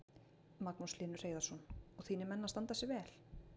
Magnús Hlynur Hreiðarsson: Og þínir menn að standa sig vel?